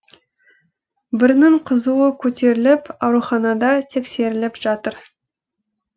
бірінің қызуы көтеріліп ауруханада тексеріліп жатыр